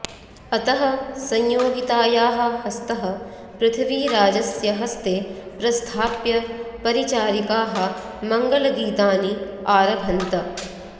अतः संयोगितायाः हस्तः पृथ्वीराजस्य हस्ते प्रस्थाप्य परिचारिकाः मङ्गलगीतानि आरभन्त